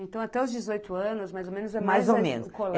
Então, até os dezoito anos, mais ou menos... Mais ou menos.